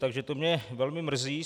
Takže to mě velmi mrzí.